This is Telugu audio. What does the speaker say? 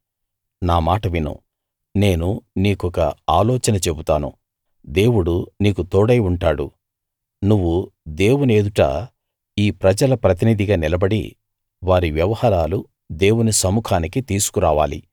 నా మాట విను నేను నీకొక ఆలోచన చెబుతాను దేవుడు నీకు తోడై ఉంటాడు నువ్వు దేవుని ఎదుట ఈ ప్రజల ప్రతినిధిగా నిలబడి వారి వ్యవహారాలు దేవుని సముఖానికి తీసుకురావాలి